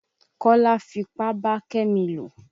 Kọ́lá fipá bá Kẹ́mi lò.